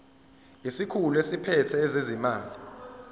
isikhulu esiphethe ezezimali